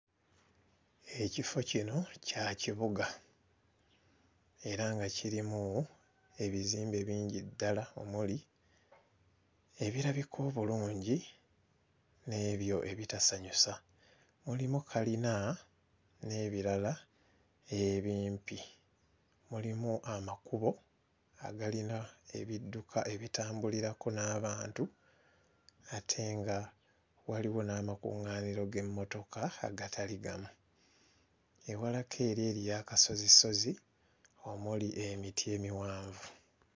Ekifo kino kya kibuga era nga kirimu ebizimbe bingi ddala omuli ebirabika obulungi n'ebyo ebitasanyusa, mulimu kkalina n'ebirala ebimpi, mulimu amakubo agalina ebidduka ebitambulirako n'abantu ate nga waliwo n'amakuŋŋaaniro g'emmotoka agatali gamu, ewalako eri eriyo akasozisozi omuli emiti emiwanvu.